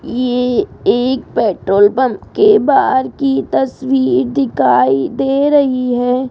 ये एक petrol pump के बाहर की तस्वीर दिखाई दे रही है।